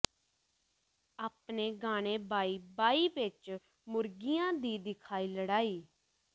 ਆਪਣੇ ਗਾਣੇ ਬਾਈ ਬਾਈ ਵਿਚ ਮੁਰਗਿਆਂ ਦੀ ਦਿਖਾਈ ਲੜਾਈ